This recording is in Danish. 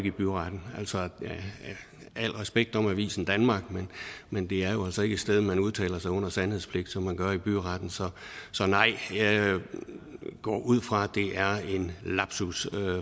i byretten al respekt om avisen danmark men det er jo altså ikke et sted man udtaler sig under sandhedspligt som man gør i byretten så nej jeg går ud fra det er en lapsus